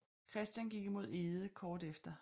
Christian gik imod Edge kort efter